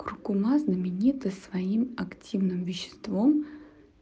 куркума знаменита своим активным веществом